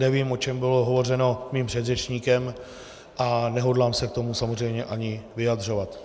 Nevím, o čem bylo hovořeno mým předřečníkem, a nehodlám se k tomu samozřejmě ani vyjadřovat.